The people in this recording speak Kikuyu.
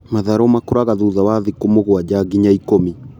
Matharũ makũraga thutha wa thikũ mũgwanja nginya ikũmi.